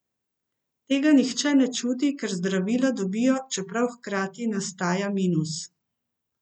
Tega nihče ne čuti, ker zdravila dobijo, čeprav hkrati nastaja minus.